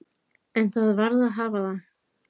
En það varð að hafa það.